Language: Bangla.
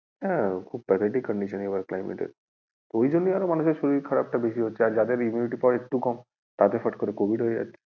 হ্যাঁ খুব pathetic condition এবারে climate এর ওইজন্য আরও মানুষের শরীর খারাপ টা বেশি হচ্ছে আর যাদের immunity power কম তাদের ফট করে covid হয়ে যাচ্ছে।